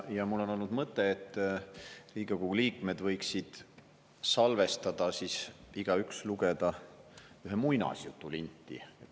Ja mul on olnud mõte, et Riigikogu liikmed võiksid salvestada, igaüks lugeda ühe muinasjutu linti.